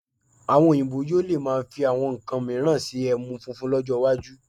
Àwọn Oyinbo yóò lè máa fi àwọn nnkan mìíràn ṣe ẹmu funfun lọ́jọ́ iwájú